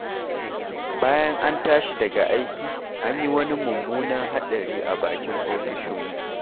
Bayan an tashi daga aiki, an yi wani mummunan haɗari a bakin ofisoshinmu.